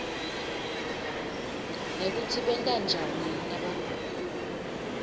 nekutsi benta njani nabagula